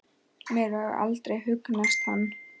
Mér hefur aldrei hugnast hann.